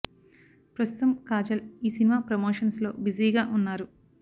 ప్రస్తుతం కాజల్ ఈ సినిమా ప్రమోషన్స్ లో బిజీ గా వున్నారు